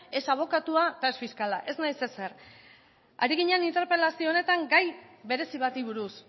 ez abokatua eta ez fiskala ez naiz ezer ari ginen interpelazio honetan gai berezi bati buruz